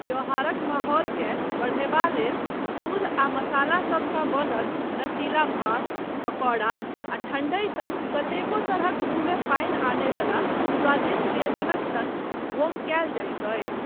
त्योहारक माहौलकेँ बढ़यबाक लेल दूध आ मसालासबसँ बनल नशीला भाङ्ग, पकौड़ा आ ठण्डाई सन कतेको तरहक मुँहमे पानि आनय वला स्वादिष्ट व्यञ्जनक सङ्ग उपभोग कयल जायत अछि।